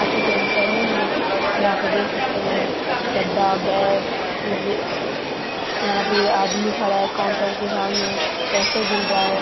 आ चुके हैं सैलून में तो यहाँ पे देख सकते है ये गद्दा बैग इवे यहाँ पे ये आदमी खड़ा है काउन्टर के सामने पैसे गिन रहा है।